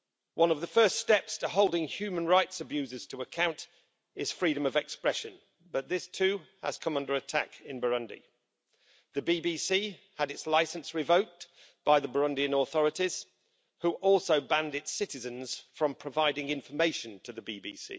One of the first steps to holding human rights abusers to account is freedom of expression, but this too has come under attack in Burundi. The BBC had its licence revoked by the Burundian authorities, which also banned its citizens from providing information to the BBC.